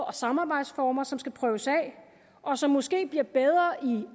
og samarbejdsformer som skal prøves af og som måske bliver bedre i